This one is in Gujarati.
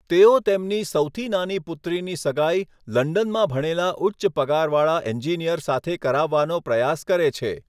તેઓ તેમની સૌથી નાની પુત્રીની સગાઈ લંડનમાં ભણેલા ઉચ્ચ પગારવાળા એન્જિનિયર સાથે કરાવવાનો પ્રયાસ કરે છે.